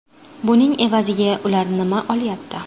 Buning evaziga ular nima olyapti?